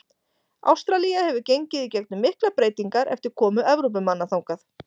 Ástralía hefur gengið í gegnum miklar breytingar eftir komu Evrópumanna þangað.